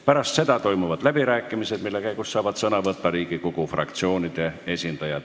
Pärast seda toimuvad läbirääkimised, mille käigus saavad sõna võtta Riigikogu fraktsioonide esindajad.